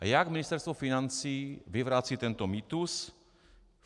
A jak Ministerstvo financí vyvrací tento mýtus?